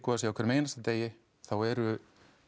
að segja á hverjum einasta degi þá eru